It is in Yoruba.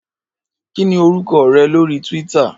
Kini órúkò rè lóri túwìtá?